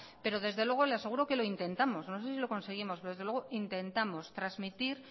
pero desde luego le aseguro que lo intentamos no sé si lo conseguimos pero desde luego intentamos transmitir